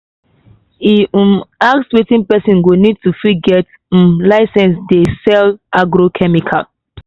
e um ask wetin person go need do to fit get um license to dey um sell agrochemical.